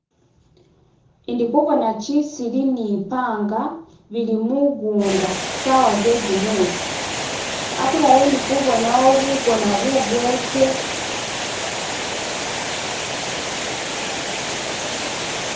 ndi kubona kisili ni panga bili mugunda sawa zegumusi akulala ndikubonawo bugona bugeke